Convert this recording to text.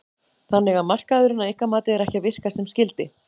Þannig að markaðurinn að ykkar mati er ekki að virka sem skyldi?